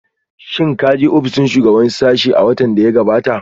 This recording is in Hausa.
Shin ka je ofishin shugaban sashen a watan da ya gabata?